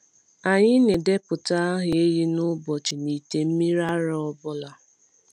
Anyị na-edepụta aha ehi na ụbọchị n’ite mmiri ara ọ bụla.